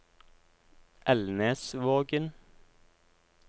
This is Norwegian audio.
Elnesvågen